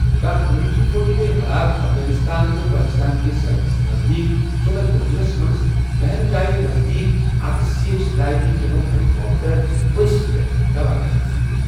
دہہ امریکی فوجی گٔیہ ہلاک افغٲنستان تہٕ پٲکستان کِس سرحدس نزدیٖک صوبہ کُنرس منٛز بہن جایہِ نزدیٖک اکھ سی ایچ ستَأجی چنوک ہیلی کاپٹر ؤسۍ پٮ۪تھ تباہ گژھنہٕ سۭتۍ